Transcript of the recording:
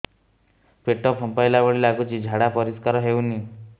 ପେଟ ଫମ୍ପେଇଲା ଭଳି ଲାଗୁଛି ଝାଡା ପରିସ୍କାର ହେଉନି